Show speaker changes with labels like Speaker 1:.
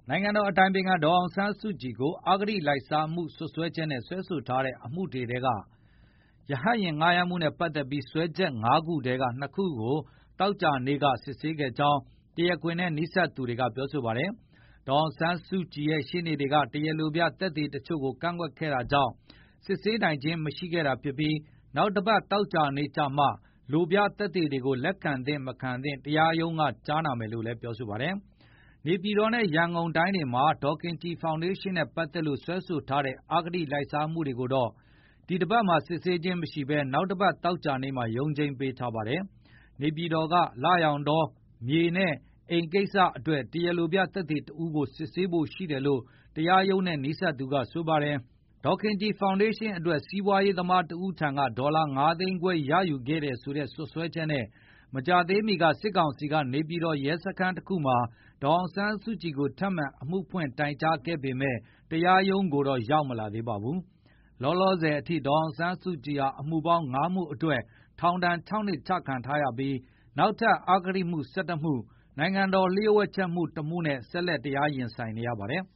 Speaker 1: နိုင်ငံတော်အတိုင်ခံ ဒေါ်အောင်ဆန်းစုကြည်ကို အဂတိလိုက်စားမှု စွပ်စွဲချက်နဲ့ စွဲဆိုထားတဲ့ အမှုတွေထဲက ရဟတ်ယဉ်ငှားရမ်း မှုနဲ့ပတ်သက်ပြီးစွဲချက် ၅ ခုထဲက ၂ ခုကို သောကြာနေ့က စစ်ဆေးခဲ့ကြောင်း တရားခွင်နဲ့ နီးစပ်သူတွေက ပြောပါတယ်။ ဒေါ်အောင်ဆန်းစုကြည့်ရဲ့ ရှေ့နေတွေကတရားလိုပြသက်သေတချို့ကိုကန့်ကွက်ခဲ့တာကြောင့်၊ စစ်ဆေးနိုင်ခြင်းမရှိတာဖြစ်ပြီး နောက်တပတ် သောကြာနေ့ကျမှ လိုပြသက်သေတွေကို လက်ခံသင့်မသင့် တရားရုံးကကြားနာမယ်လို့လည်း ပြောပါတယ်။ နေပြည်တော်နဲ့ ရန်ကုန်တိုင်းတွေမှာ ဒေါ်ခင်ကြည် ဖောင်ဒေးရှင်းနဲ့ ပတ်သက်လို့ စွဲဆိုထားတဲ့ အဂတိလိုက်စားမှုတွေကိုတော့ ဒီတပတ်မှာ စစ်ဆေးခြင်းမရှိဘဲ နောက်တပတ် သောကြာနေ့မှာ ရုံးချိန်းပေးထားပါတယ်။ နေပြည်တော်က လရောင်တော မြေနဲ့အိမ် ကိစ္စအတွက် တရာလိုပြသက်သေတဦးကို စစ်ဆေးဖို့ရှိတယ်လို့ တရားရုံးနဲ့ နီးစပ်သူကဆိုပါတယ်။ ဒေါ်ခင်ကြည် ဖောင်ဒေးရှင်းအတွက် စီးပွားရေးသမားတဦးထံက ဒေါ်လာ ၅ သိန်းခွဲရယူခဲ့တယ်ဆိုတဲ့ စွပ်စွဲချက်နဲ့ မကြာသေးမီက စစ်ကောင်စီ ကနေပြည်တော် ရဲစခန်းတခုမှာ ဒေါ်အောင်ဆန်းစုကြည်ကို ထပ်မံအမှုဖွင့်တိုင်ကြားခဲ့ပေမယ့်တရားရုံးကို တော့ရောက်မလာသေးပါဘူး။ လောလောဆယ်ထိအထိ ဒေါ်အောင်ဆန်းစုကြည်ဟာ အမှုပေါင်း ၅ မှုအတွက်ထောင်ဒါဏ် ၆ နှစ်ချခံထားရပြီး၊ နောက်ထပ် အဂတိမှု ၁၁ မှု၊ နိုင်ငံတော်လျှို့ဝှက်ချက်မှု ၁ မှုနဲ့ ဆက်လက်တရားရင်ဆိုင်နေရပါတယ်